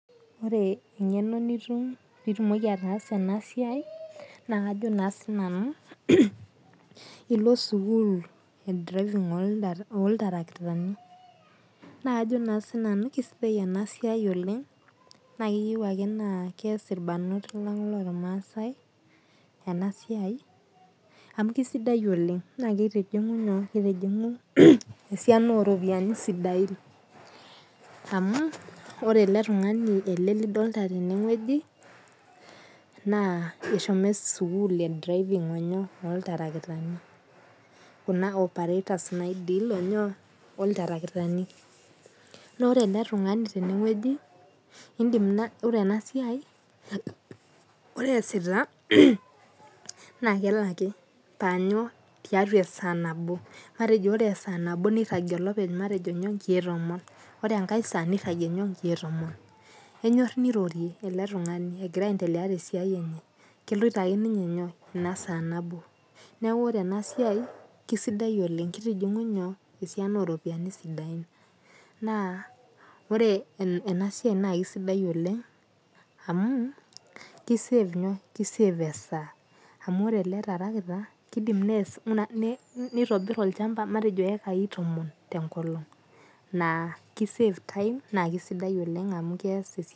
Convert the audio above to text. Ore engeno nitum peitumoki ataasa enasiai na kajo sinanu ilo sukul na kajo sinanu keyieu nakeas irbarnot lang lormaasai enasia amu kisidai oleng na kitijingi esiana oropiyiani sidain amu ore eletungani lidolta tene eshomo sukul olderefani loltarakitani na ore eletungani tenewueji indim ore easita na kelaki tiatua esaa nabo matejo ore tesaa nabo niragie olopeny matejo nkiek tomon ore tenkae saa matejo niragie nkiek tomon enyor nirorie eletungani egira aendelea tesia enye keloito ake ninye inasaa nabo neaku ore enasia na kisidai amu kitijingi esiana oropiyiani ore enasia na kisidai oleng amu kisave esaa amu ore ele tarakita na kidimai nitobir matejo ekai tomon tenkolong na ki save time amu keas esiai